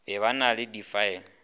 be ba na le difaele